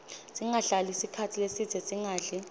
singahlali sikhatsi lesidze singadli